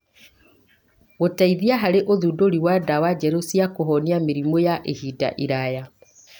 Gũteithia harĩ ũthundũri wa ndawa njerũ cia kũhonia mĩrimũ yaa ihinda iraya.